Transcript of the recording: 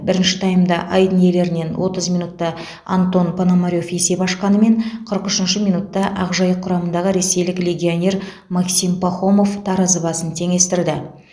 бірінші таймда айдын иелерінен отыз минутта антон пономарев есеп ашқанымен қырық үшінші минутта ақжайық құрамындағы ресейлік легионер максим пахомов таразы басын теңестірді